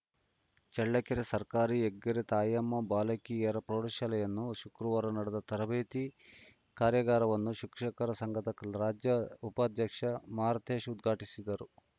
ಚಳ್ಳಕೆರೆ ಸರ್ಕಾರಿ ಹೆಗ್ಗೆರೆ ತಾಯಮ್ಮ ಬಾಲಕಿಯರ ಪ್ರೌಢಶಾಲೆಯನ್ನು ಶುಕ್ರವಾರ ನಡೆದ ತರಬೇತಿ ಕಾರ್ಯಗಾರವನ್ನು ಶಿಕ್ಷಕರ ಸಂಘದ ರಾಜ್ಯ ಉಪಾಧ್ಯಕ್ಷ ಮಾರುತೇಶ್‌ ಉದ್ಘಾಟಿಸಿದರು